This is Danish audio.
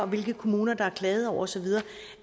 hvilke kommuner der er klaget over osv